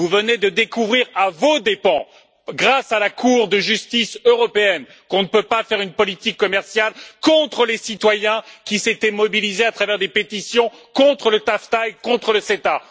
Vous venez de découvrir à vos dépens, grâce à la Cour de justice de l'Union européenne, qu'on ne peut pas faire une politique commerciale contre les citoyens qui s'étaient mobilisés à travers des pétitions contre le TAFTA et contre le CETA.